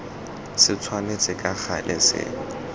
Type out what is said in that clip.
se tshwanetse ka gale se